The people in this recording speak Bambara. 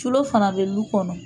Culo fana bɛ lu kɔnɔ.